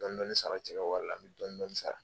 Dɔɔni dɔɔni sara cɛ ka wari la, m bɛ dɔɔni dɔɔni sara.